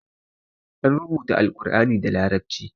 An rubuta Alkur'ani da larabci.